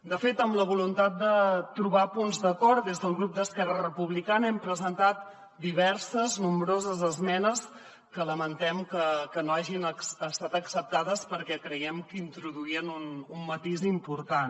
de fet amb la voluntat de trobar punts d’acord des del grup d’esquerra republicana hem presentat nombroses esmenes que lamentem que no hagin estat acceptades perquè creiem que introduïen un matís important